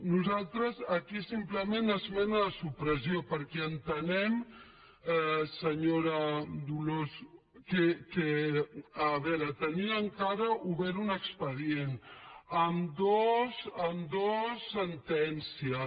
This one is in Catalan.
nosaltres aquí simplement esmena de supressió perquè entenem senyora dolors que a veure tenim encara obert un expedient amb dues sentències